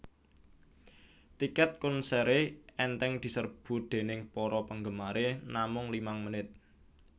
Tiket konseré enteng deserbu déning para panggemare namung limang menit